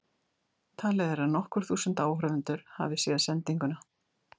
Talið er að nokkur þúsund áhorfendur hafi séð sendinguna.